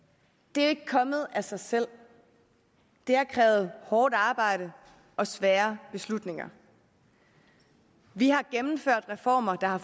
det er ikke kommet af sig selv det har krævet hårdt arbejde og svære beslutninger vi har gennemført reformer der har